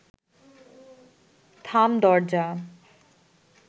থাম দরজা